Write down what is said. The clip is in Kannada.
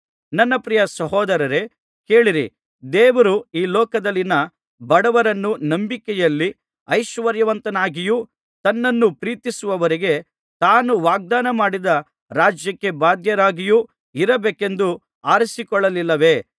ನನ್ನ ಪ್ರಿಯ ಸಹೋದರರೇ ಕೇಳಿರಿ ದೇವರು ಈ ಲೋಕದಲ್ಲಿನ ಬಡವರನ್ನು ನಂಬಿಕೆಯಲ್ಲಿ ಐಶ್ವರ್ಯವಂತರನ್ನಾಗಿಯೂ ತನ್ನನ್ನು ಪ್ರೀತಿಸುವವರಿಗೆ ತಾನು ವಾಗ್ದಾನ ಮಾಡಿದ ರಾಜ್ಯಕ್ಕೆ ಬಾಧ್ಯರಾಗಿಯೂ ಇರಬೇಕೆಂದು ಆರಿಸಿಕೊಳ್ಳಲಿಲ್ಲವೇ